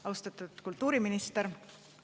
Austatud kultuuriminister!